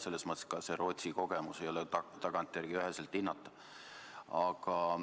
Selles mõttes Rootsi kogemus ei ole tagantjärele üheselt hinnatav.